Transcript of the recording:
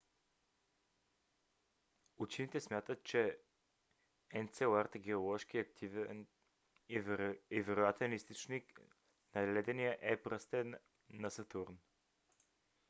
учените смятат че енцелад е геоложки активен и е вероятен източник на ледения е пръстен на сатурн